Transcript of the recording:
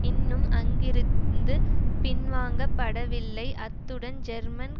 இன்னும் அங்கிருந்து பின்வாங்கப்படவில்லை அத்துடன் ஜெர்மன்